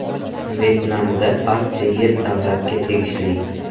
Vyetnamda barcha yer davlatga tegishli.